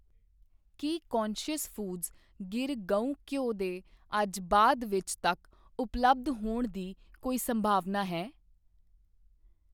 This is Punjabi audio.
ਕੀ ਕੌਨਸ਼ਿਅਸ ਫੂਡਜ਼ ਗਿਰ ਗਊ ਘਿਓ ਦੇ ਅੱਜ ਬਾਅਦ ਵਿੱਚ ਤੱਕ ਉਪਲੱਬਧਹੋਣ ਦੀ ਕੋਈ ਸੰਭਾਵਨਾ ਹੈ?